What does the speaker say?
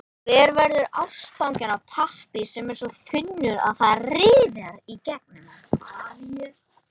Hver verður ástfanginn af pappír sem er svo þunnur, að það rifar í gegnum hann?